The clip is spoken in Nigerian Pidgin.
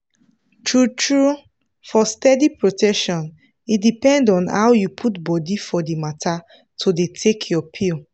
true-true for steady protection e depend on how you put body for the matter to dey take your pill.